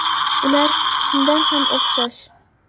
Ular chindan ham o‘xshash.